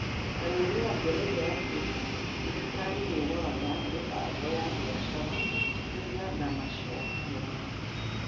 Kanyi nĩ ongereire atĩ thirikari nĩ ĩroraga mĩbango ya biacara, kũiga na macokio make.